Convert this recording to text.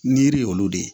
Niri y'olu de